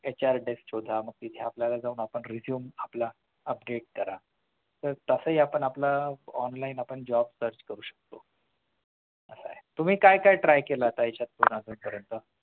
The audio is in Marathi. HRDesk शोधा मग तिथे आपल्याला मग आपण resume आपला update करा तर तासही आपण आपलं online आपण job search करू शकतो तुम्ही काय try केलत